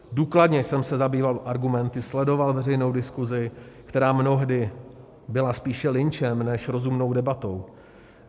Důkladně jsem se zabýval argumenty, sledoval veřejnou diskusi, která mnohdy byla spíše lynčem než rozumnou debatou.